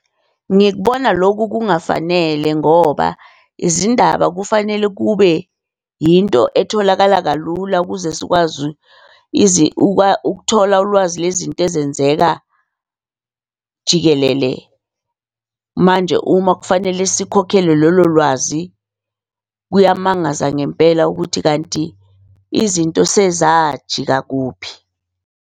Ngikubona loku kungafanele ngoba izindaba kufanele kube yinto etholakala kalula ukuze sikwazi ukuthola ulwazi lezinto ezenzeka jikelele. Manje uma kufanele sikhokhele lolo lwazi, kuyamangaza ngempela ukuthi kanti izinto sezajika kuphi?